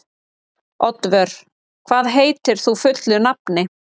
Oddvör, hvað heitir þú fullu nafni?